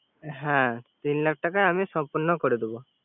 হ্যা তিন লাখ টাকায় আমি সম্পূন্ন করে দিব